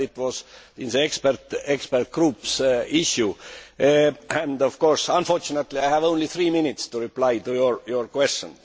It was an expert groups issue and, of course, unfortunately I have only three minutes to reply to your question.